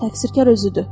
Təqsirkar özüdür.